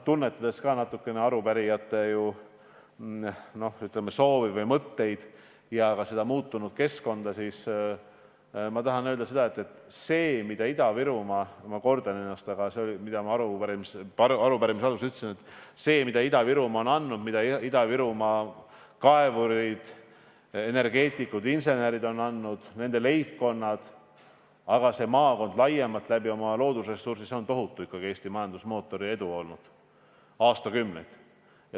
Tunnetades natukene arupärijate soovi või mõtteid ja ka muutunud keskkonda, tahan ma öelda, et see, mida Ida-Virumaa – ma kordan seda, mida ma arupärimise alguses ütlesin – on andnud, mida Ida-Virumaa kaevurid, energeetikud, insenerid ja nende leibkonnad on andnud, see maakond laiemalt oma loodusressursi kaudu on andnud, on olnud ikkagi tohutu edu Eesti majandusmootori jaoks juba aastakümneid.